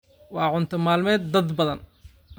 waa cunto maalmeed dad badan.